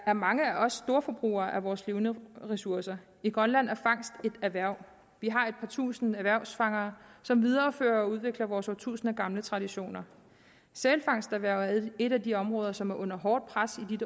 er mange af os storforbrugere af vores levende ressourcer i grønland er fangst et erhverv vi har et par tusinde erhvervsfangere som viderefører og udvikler vores årtusinder gamle traditioner sælfangsterhvervet er et af de områder som er under hårdt pres i